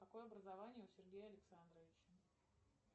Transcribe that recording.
какое образование у сергея александровича